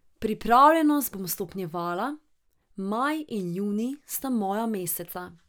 Pripravljenost bom stopnjevala, maj in junij sta moja meseca.